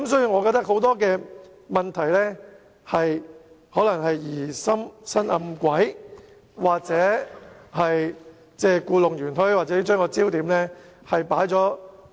我認為很多問題可能歸咎於有人疑心生暗鬼、故弄玄虛，或把焦點錯置。